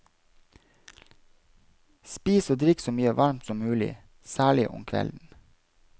Spis og drikk så mye varmt som mulig, særlig om kvelden.